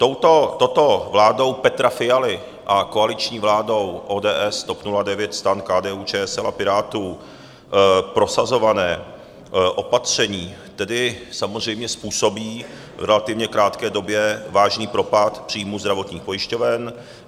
Touto vládou Petra Fialy a koaliční vládou ODS, TOP 09, STAN, KDU-ČSL a Pirátů prosazované opatření tedy samozřejmě způsobí v relativně krátké době vážný propad příjmů zdravotních pojišťoven.